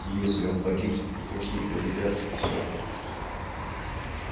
и если он погибнет и плохие победят всё